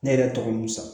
Ne yɛrɛ tɔgɔ ye musa